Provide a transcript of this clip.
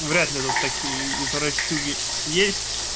вряд ли тут такие извращуги есть